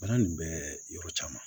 Baara nin bɛ yɔrɔ caman